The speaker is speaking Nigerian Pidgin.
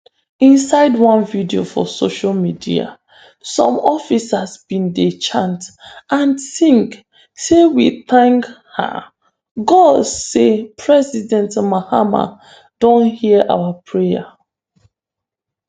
inside one video for social media some officers bin dey chant and sing say "we thank um god say president mahama don hear our prayer.